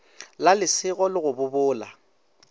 la lesego le go bobola